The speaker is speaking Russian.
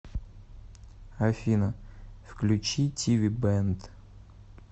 афина включи ти ви бэнд